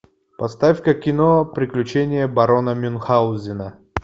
поставь ка кино приключения барона мюнхаузена